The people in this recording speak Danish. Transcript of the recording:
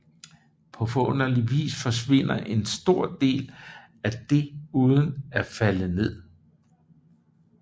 På forunderlig vis forsvinder en stor del af det uden at falde ned